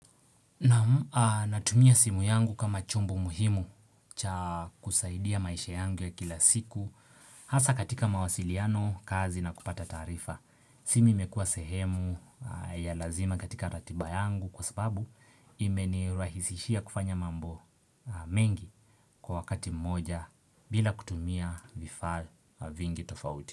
Natumia simu yangu kama chombo muhimu cha kusaidia maisha yangu ya kila siku hasa katika mawasiliano, kazi na kupata tarifa. Simu imekua sehemu ya lazima katika ratiba yangu kwa sababu ime nirahisishia kufanya mambo mengi kwa wakati mmoja bila kutumia vifaa vingi tofauti.